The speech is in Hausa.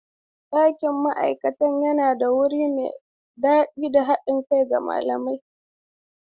Ɗakin ma'aikata yana ba da wuri mai daɗi da haɗin kai ga malamai.